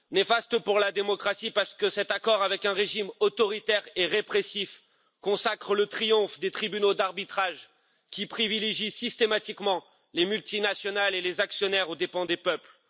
Néfaste pour la démocratie, parce que cet accord avec un régime autoritaire et répressif consacre le triomphe des tribunaux d'arbitrage qui privilégient systématiquement les multinationales et les actionnaires aux dépens des peuples.